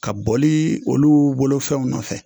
Ka bolii oluu bolofɛnw nɔfɛ